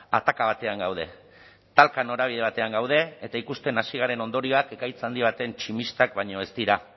ataka batean gaude talka norabide batean gaude eta ikusten hasi garen ondorioak ekaitz handi baten tximistak baino ez dira